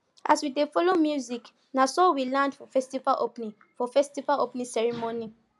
as we dey follow music na so we land for festival opening for festival opening ceremony